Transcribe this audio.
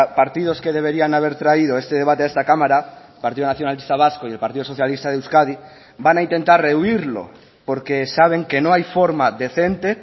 partidos que deberían haber traído este debate a esta cámara partido nacionalista vasco y el partido socialista de euskadi van a intentar rehuirlo porque saben que no hay forma decente